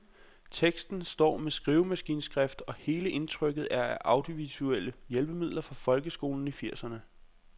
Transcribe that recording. Teksten står med skrivemaskineskrift, og hele indtrykket er af audiovisuelle hjælpemidler fra folkeskolen i firserne.